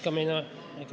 ... muutmine.